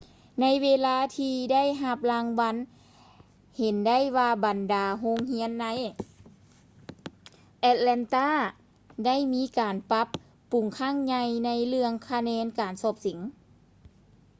ໃນເວລາທີ່ໄດ້ຮັບລາງວັນ ເຫັນໄດ້ວ່າ ບັນດາໂຮງຮຽນໃນ ແອັດແລນຕາ atlanta ໄດ້ມີການປັບປຸງຄັ້ງໃຫຍ່ໃນເລື່ອງຄະແນນການສອບເສັງ